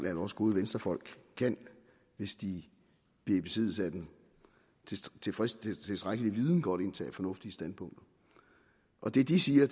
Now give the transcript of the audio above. at også gode venstrefolk hvis de bliver i besiddelse af den tilstrækkelige viden godt kan indtage fornuftige standpunkter det de siger